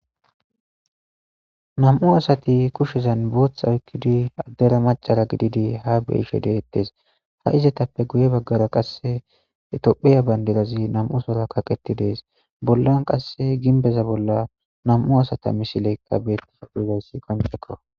nam7u asati kushezan bootha oykkidi addera macara gididi ha beishe deettes ha izetappe guye baggara qasse etophiya bayndidazi nam7u sora kaqeti dees bollan qasse ginbeza bolla nam7u asata misileykka beettifa phudayssi koncekko